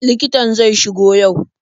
Likitan zai shigo yau?